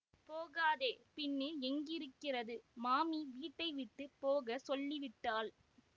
போகாதே பின்னே எங்கேயிருக்கிறது மாமி வீட்டை விட்டு போக சொல்லிவிட்டாள்